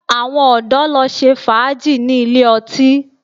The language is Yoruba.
Àwọn ọ̀dọ̀ lọ ṣe fàájì ní ilé ọtí